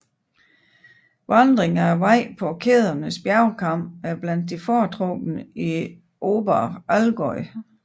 Vandring af vejen på kædens bjergkam er blandt de foretrukne i Oberallgäu